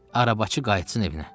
Arabacı qayıtsın evinə.